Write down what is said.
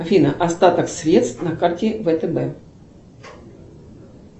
афина остаток средств на карте втб